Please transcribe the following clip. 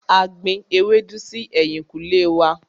A gbin ewédú si ẹ̀yìnkùlé wá.